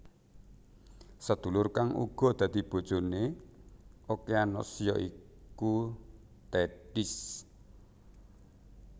Sedulur kang uga dadi bojone Okeanos ya iku Tethis